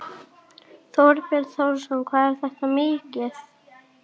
Þorbjörn Þórðarson: Hvað er þetta mikið?